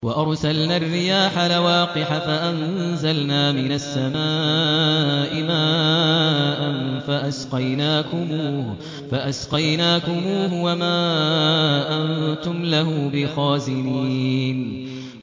وَأَرْسَلْنَا الرِّيَاحَ لَوَاقِحَ فَأَنزَلْنَا مِنَ السَّمَاءِ مَاءً فَأَسْقَيْنَاكُمُوهُ وَمَا أَنتُمْ لَهُ بِخَازِنِينَ